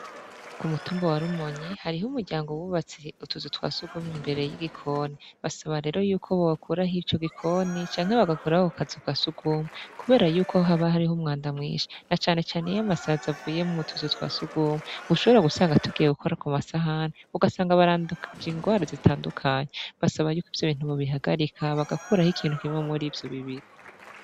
K'umutumba wa Rumonyi hariho umuryango w'ubatswe utuzu twasugumwe imbere y'igikoni, basaba rero yuko bokuraho ico gikoni canke bagakuraho ako kazu ka sugumwe, kubera yuko haba hari umwanda mwinshi na cane cane iyo amasazi avuye m'utuzu twa sugumwe ushobora gusanga tugiye gukora ku masahani ugasanga barandukije ingwara zitandukanye, basaba yuko ivyo bintu bo bihagarika ba gakuraho kimwe murivyo bibiri.